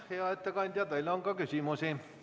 Hea ettekandja, teile on küsimusi.